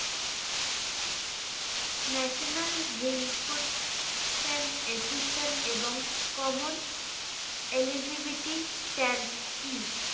national recruitment assistant এবং eligibity stand কি